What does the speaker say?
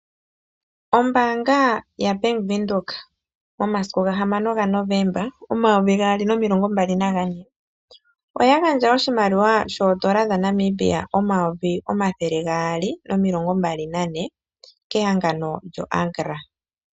Ombaanga yaBank Windhoek momasiku ga 6 Desemba 2024, ya gandja oshimaliwa sho N$224 000 kehangano lyoAgra.